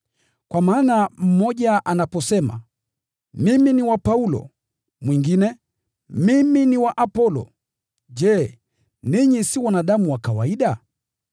Kwa maana mmoja anaposema, “Mimi ni wa Paulo,” na mwingine, “Mimi ni wa Apolo,” je, ninyi si wanadamu wa kawaida?